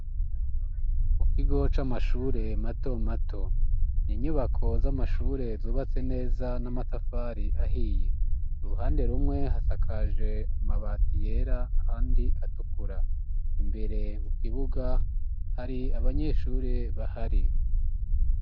Mu kigo c'amashure mato mato Inyubako z'amashure zubatse neza n'amatafari ahiye. Uruhande rumwe hasakaje amabati yera ahandi atukura. Imbere mu kibuga hari abanyeshure bahari.